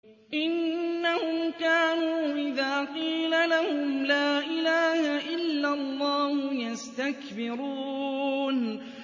إِنَّهُمْ كَانُوا إِذَا قِيلَ لَهُمْ لَا إِلَٰهَ إِلَّا اللَّهُ يَسْتَكْبِرُونَ